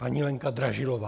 Paní Lenka Dražilová.